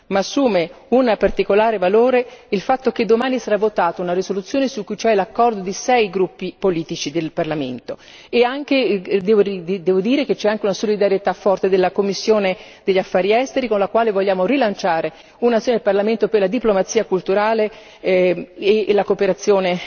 Ma assume un particolare valore il fatto che domani sarà votata una risoluzione su cui c'è l'accordo di sei gruppi politici del Parlamento. Devo anche dire che c'è una solidarietà forte della commissione degli affari esteri con la quale vogliamo rilanciare un'azione del Parlamento per la diplomazia culturale e la cooperazione